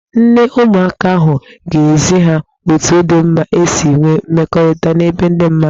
Nne ụmụaka ahụ ga-ezi ha otu dị mma isi nwee mmekọrịta n'ebe ndị mmadụ.